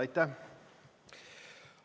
Aitäh!